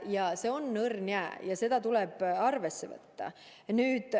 Aga see on õrn jää ja seda tuleb arvesse võtta.